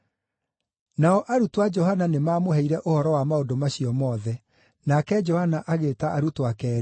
Nao arutwo a Johana nĩmamũheire ũhoro wa maũndũ macio mothe. Nake Johana agĩĩta arutwo ake eerĩ,